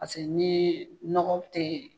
Paseke n'i ye nɔgɔ tɛ yen.